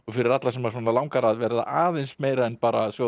fyrir alla sem langar að verða aðeins meira en bara sjóða